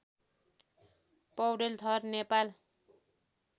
पौडेल थर नेपाल